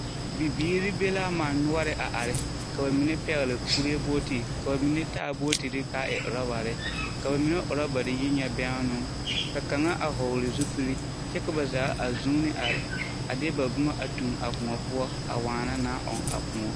Bibiiri be l'a man noɔre a are. Ka ba mine pɛgele kuree booti, ka ba mine taa bootiri k'a e orɔbare. Ka ba mine orɔbare yi ŋa bɛnnoo. Ka kaŋa a hɔɔle zupili kyɛ ka ba zaa a zuuni are a de ba bomɔ a tuŋ a kõɔ poɔ a waana naa ɔŋ a kõ